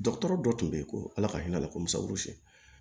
Dɔgɔtɔrɔ dɔ tun bɛ yen ko ala ka hinɛ ala la kom'a